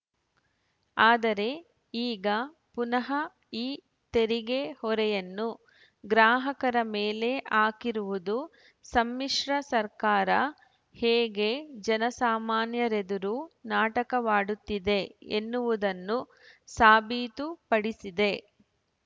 ಆದರೆ ಈಗ ಪುನಃ ಈ ತೆರಿಗೆ ಹೊರೆಯನ್ನು ಗ್ರಾಹಕರ ಮೇಲೆ ಹಾಕಿರುವುದು ಸಮ್ಮಿಶ್ರ ಸರ್ಕಾರ ಹೇಗೆ ಜನಸಾಮಾನ್ಯರೆದುರು ನಾಟಕವಾಡುತ್ತಿದೆ ಎನ್ನುವುದನ್ನು ಸಾಬೀತು ಪಡಿಸಿದೆ